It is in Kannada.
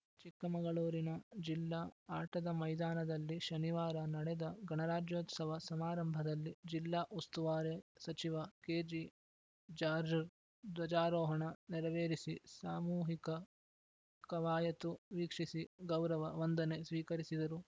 ಚಿಕ್ಕಮಗಳೂರಿನ ಜಿಲ್ಲಾ ಆಟದ ಮೈದಾನದಲ್ಲಿ ಶನಿವಾರ ನಡೆದ ಗಣರಾಜ್ಯೋತ್ಸವ ಸಮಾರಂಭದಲ್ಲಿ ಜಿಲ್ಲಾ ಉಸ್ತುವಾರೆ ಸಚಿವ ಕೆಜೆ ಜಾಜ್‌ರ್‍ ಧ್ವಜಾರೋಹಣ ನೆರವೇರಿಸಿ ಸಾಮೂಹಿಕ ಕವಾಯತು ವೀಕ್ಷಿಸಿ ಗೌರವ ವಂದನೆ ಸ್ವೀಕರಿಸಿದರು